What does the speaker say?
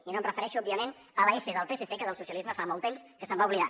i no em refereixo òbviament a la essa del psc que del socialisme fa molt temps que se’n va oblidar